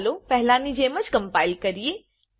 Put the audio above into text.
ચાલો પહેલા ની જેમ જ કમ્પાઈલ કરીએ